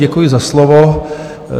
Děkuji za slovo.